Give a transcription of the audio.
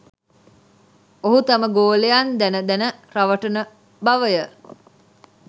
ඔහු තම ගෝලයන් දැන දැන රවටන බවය